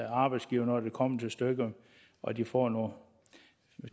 arbejdsgiver når det kommer til stykket og de får nogle